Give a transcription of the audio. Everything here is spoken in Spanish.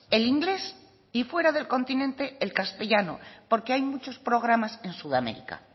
el inglés y fuera del continente el castellano porque hay muchos programas en sudamérica